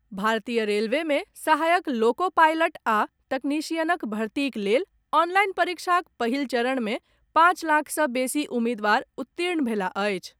भारतीय रेलवे मे सहायक लोको पायलट आ तकनीशियनक भर्तीक लेल ऑनलाइन परीक्षाक पहिल चरण में पांच लाख सॅ बेसी उम्मीदवार उत्तीर्ण भेलाह अछि।